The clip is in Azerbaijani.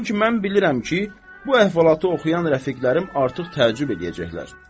Çünki mən bilirəm ki, bu əhvalatı oxuyan rəfiqlərim artıq təəccüb eləyəcəklər.